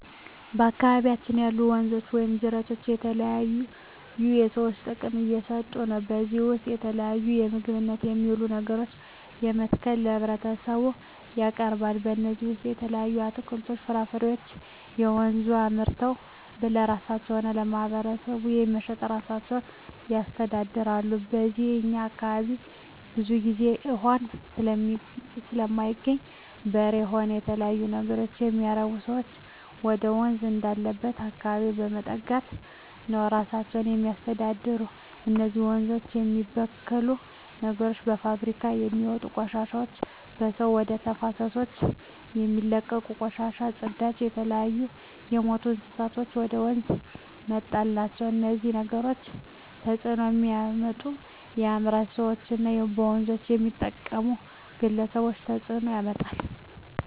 በአካባቢያችን ያሉ ወንዞች ወይም ጅረቶች ለተለያዩ ለሰዎች ጥቅም እየሠጡ ነው ከዚህ ውስጥ የተለያዩ ለምግብነት የሚውሉ ነገሮችን በመትከል ለህብረተሰቡ ያቀርባሉ ከነዚህም ውሰጥ የተለያዩ አትክልቶች ፍራፍሬዎችን በወንዙ አምርተው ለራሳቸው ሆነ ለማህበረሰቡ በመሸጥ እራሳቸውን ያስተዳድራሉ ከዚው ከእኛ አካባቢም ብዙ ግዜ እውሃ ስለማይገኝ በሬ ሆነ የተለያዩ ነገሮች የሚያረቡ ሰዎች ወደወንዝ ወዳለበት አካባቢ በመጠጋት ነው እራሳቸውን የሚያስተዳድሩ እነዚህ ወንዞች የሚበክሉ ነገሮች በፋብሪካውች የሚወጡ ቆሻሾች በሰዎች ወደ ተፋሰሶች የሚለቀቁ ቆሻሻ ጽዳጅ የተለያዩ የምቱ እንስሳትን ወደ ወንዙ መጣል ናቸው እነዚህ ነገሮች ተጽዕኖ የሚያመጡት ለአምራች ሰዎች እና በወንዞች ለሚጠቀሙ ግለሰቦች ተጽእኖ ያመጣል